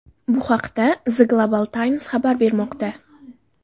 Bu haqda The Global Times xabar bermoqda .